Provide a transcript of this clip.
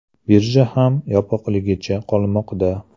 Birja ham yopiqligicha qolmoqda.